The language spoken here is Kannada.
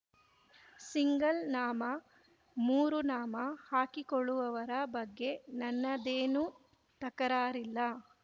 ಸಿಂಗಲ್ ನಾಮ ಮೂರು ನಾಮ ಹಾಕಿಕೊಳ್ಳುವವರ ಬಗ್ಗೆ ನನ್ನದೇನೂ ತಕರಾರಿಲ್ಲ